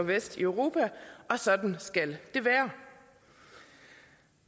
vest i europa og sådan skal det være